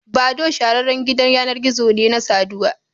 Badoo shahararren gidan yanar gizo ne na saduwa